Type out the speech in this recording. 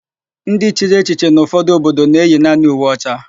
Ndị chiri echiche n'ụfọdụ obodo na-eyi naanị uwe ọcha.